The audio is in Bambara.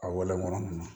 A walan ninnu